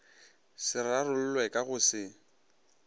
se rarollwe ka go se